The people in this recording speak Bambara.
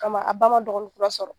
Kama a ba ma dɔgɔni kura sɔrɔ.